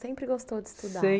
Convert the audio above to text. Sempre gostou de estudar.